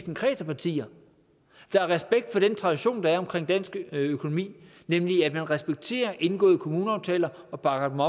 en kreds af partier der har respekt for den tradition der er omkring dansk økonomi nemlig at man respekterer indgåede kommuneaftaler og bakker